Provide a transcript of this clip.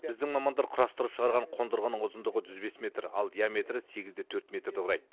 біздің мамандар құрастырып шығарған қондырғының ұзындығы жүз бес метр ал диаметрі сегіз де төрт метрді құрайды